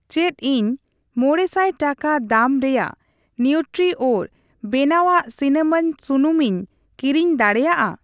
ᱪᱮᱫ ᱤᱧ ᱢᱚᱬᱮ ᱥᱟᱭ ᱴᱟᱠᱟ ᱫᱟᱢ ᱨᱮᱭᱟᱜ ᱱᱤᱣᱴᱨᱤᱭᱨᱟᱡ ᱵᱮᱱᱟᱣᱟᱜ ᱥᱤᱱᱟᱢᱟᱱ ᱥᱩᱱᱩᱢ ᱤᱧ ᱠᱤᱨᱤᱧ ᱫᱟᱲᱮᱭᱟᱜᱼᱟ ?